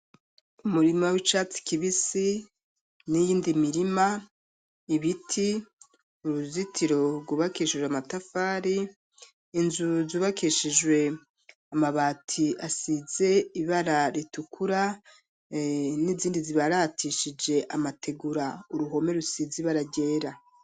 Umurima w'icatsi kibisi, n'iyindi mirima, ibiti, uruzitiro rwubakishijwe amatafari, inzu zubakishijwe amabati, asize ibara ritukura, n'izindi zibaratishije, amategura; uruhome rusize ibara ryera.